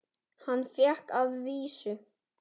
Hann fékk að vísu